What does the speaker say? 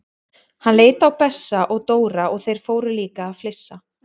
Hann leit á Bessa og Dóra og þeir fóru líka að flissa.